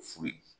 Furu ye